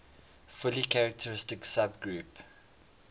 fully characteristic subgroup